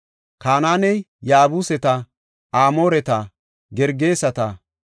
Kanaaney Yaabuseta, Amooreta, Gergeseta,